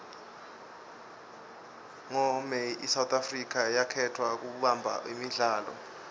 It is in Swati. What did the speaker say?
ngo may isouth africa yakhetfwa kubamba imidlalo